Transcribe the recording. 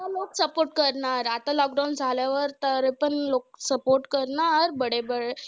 खूप support करणार. आता lockdown झाल्यावर तर पण लोकं support करणार,